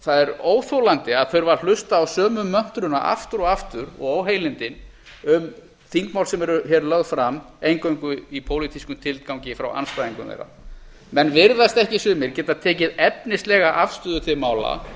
það er óþolandi að þurfa að hlusta á sömu möntruna aftur og aftur og óheilindi um þingmál sem eru hér lögð fram eingöngu í pólitískum tilgangi frá andstæðingum þeirra menn virðast ekki sumir geta tekið efnislega afstöðu til mála